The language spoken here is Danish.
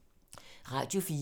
Radio 4